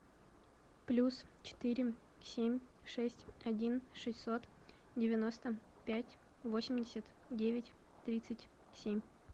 плюс четыре семь шесть один шестьсот девяносто пять восемьдесят девять тридцать семь